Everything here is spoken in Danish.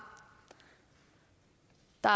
der